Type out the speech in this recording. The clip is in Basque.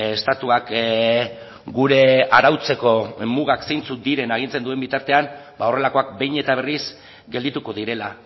estatuak gure arautzeko mugak zeintzuk diren agintzen duen bitartean ba horrelakoak behin eta berriz geldituko direla